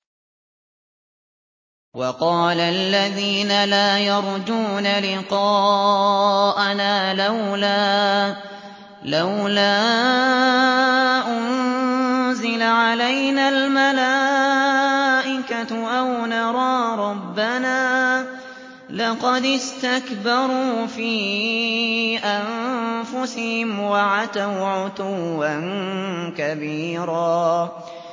۞ وَقَالَ الَّذِينَ لَا يَرْجُونَ لِقَاءَنَا لَوْلَا أُنزِلَ عَلَيْنَا الْمَلَائِكَةُ أَوْ نَرَىٰ رَبَّنَا ۗ لَقَدِ اسْتَكْبَرُوا فِي أَنفُسِهِمْ وَعَتَوْا عُتُوًّا كَبِيرًا